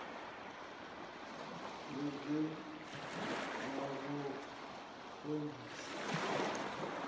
ḽa gems na vhaongi sa